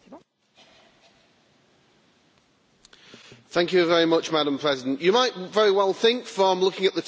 Madam President, you might very well think, from looking at the title of this debate, that I'd be all in favour of this report.